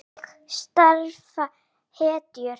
Þannig starfa hetjur!